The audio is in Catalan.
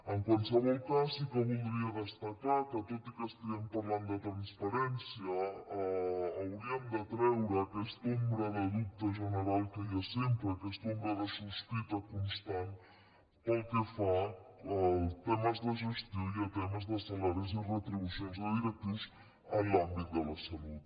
en qualsevol cas sí que voldria destacar que tot i que estiguem parlant de transparència hauríem de treure aquesta ombra de dubte general que hi ha sempre aquesta ombra de sospita constant pel que fa a temes de gestió i a temes de salaris i retribucions de directius en l’àmbit de la salut